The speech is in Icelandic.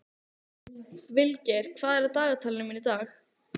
Vilgeir, hvað er í dagatalinu mínu í dag?